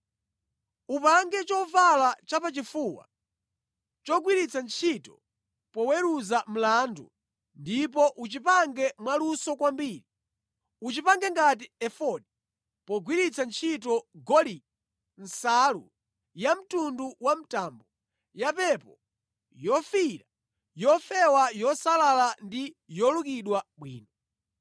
“Upange chovala chapachifuwa chogwiritsa ntchito poweruza mlandu ndipo uchipange mwaluso kwambiri. Uchipange ngati efodi pogwiritsa ntchito golide, nsalu yamtundu wa mtambo, yapepo, yofiira, yofewa yosalala ndi yolukidwa bwino.